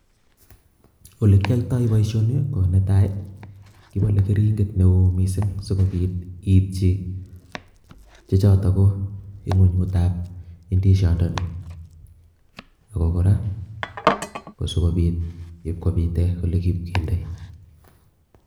Olekiyoito boishoni ko netai kibole kerinket neo kot missing sikopit itchin che choton koniguigutab idishon ndoni, ako koraa kobit ipkonit olekindoi.